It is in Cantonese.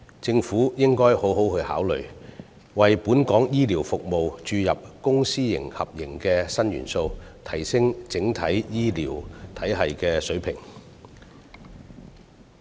政府應該好好考慮，為本港醫療服務注入公私合營的新元素，提升整體醫療體系的水平。